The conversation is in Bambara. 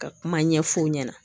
Ka kuma ɲɛf'u ɲɛna